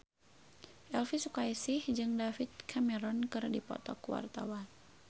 Elvi Sukaesih jeung David Cameron keur dipoto ku wartawan